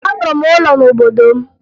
Arụrụ m ụlọ n'obodo m